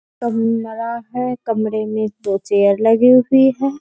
कमरा है कमरे मे दो चेयर लगी हुई है।